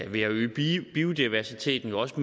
ved at øge biodiversiteten også